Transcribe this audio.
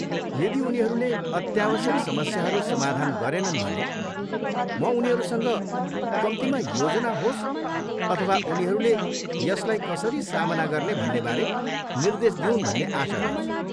यदि उनीहरूले अत्यावश्यक समस्याहरू समाधान गरेनन् भने, म उनीहरूसँग कम्तीमा योजना होस् अथवा उनीहरूले यसलाई कसरी सामना गर्ने भन्नेबारे निर्देश दिउन् भन्ने आशा गर्छु।